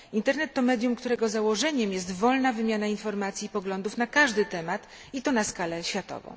Internet to medium, którego założeniem jest wolna wymiana informacji i poglądów na każdy temat i to na skalę światową.